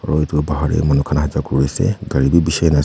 aru edu bahar de manu khan aja ja kuri ase gari bhi bishi hui na as.